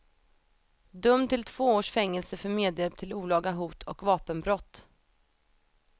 Dömd till två års fängelse för medhjälp till olaga hot och vapenbrott.